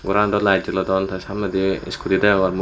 goran do lite jolodon te samnendi skuti deyongor mu.